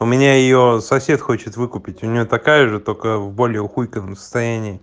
у меня её сосед хочет выкупить у нее такая же только в более ухуйтовом состоянии